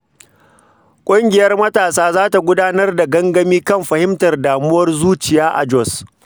Ƙungiyar matasa za ta gudanar da gangami kan fahimtar damuwar zuciya a Jos.